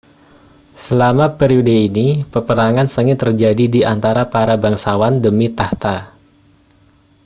selama periode ini peperangan sengit terjadi di antara para bangsawan demi takhta